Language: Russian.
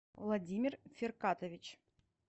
владимир фиркатович